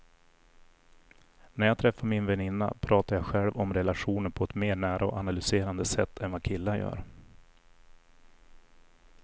När jag träffar min väninna pratar jag själv om relationer på ett mer nära och analyserande sätt än vad killar gör.